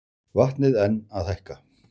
Vatnið enn að hækka